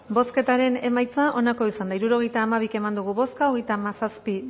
bozketaren emaitza onako izan da hirurogeita hamabi eman dugu bozka hogeita hamazazpi